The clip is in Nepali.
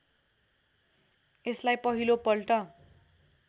यसलाई पहिलो पल्ट